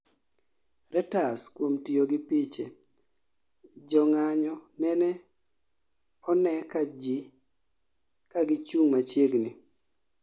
Reuters kuom tiyo gi piche, jo ng'anyo nene one ka gi chung' machiegni